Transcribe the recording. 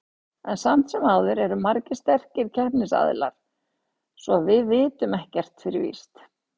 En samt sem áður eru margir sterkir samkeppnisaðilar, svo að við vitum ekkert fyrir víst.